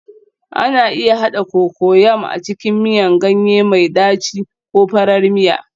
Ana iya haɗa Cocoyam a cikin miyan ganye mai ɗaci ko farar miya